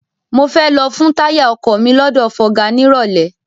Mo fẹ́ lọ fun táyà ọkọ̀ mi lọ́dọ̀ fọga nírọ̀lẹ́.